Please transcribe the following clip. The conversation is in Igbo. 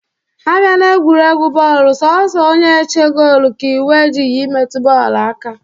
Abịa n'egwuregwu bọọlụ, sọọsọ onye-eche goolu ka iwu ejighị imetụ bọọlụ aka.